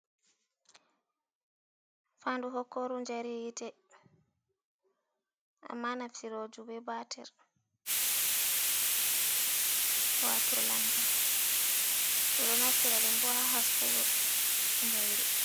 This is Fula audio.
Fanɗu hokoru jari hite. Amma naftiroju be batir. Wato lanta ɗom ɗo naftira ɗum boha ha haskugo jairi.